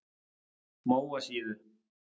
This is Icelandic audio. Móasíðu